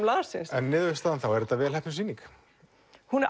landsins en niðurstaðan þá er þetta vel heppnuð sýning hún er